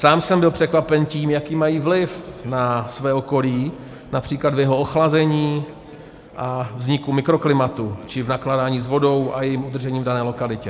Sám jsem byl překvapen tím, jaký mají vliv na své okolí, například v jeho ochlazení a vzniku mikroklimatu či v nakládání s vodou a jejím udržením v dané lokalitě.